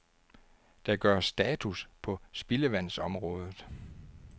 Der gøres status på spildevandsområdet.